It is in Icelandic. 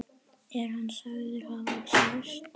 Er hann sagður hafa særst.